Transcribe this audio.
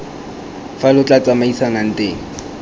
fa lo tla tsamaisanang teng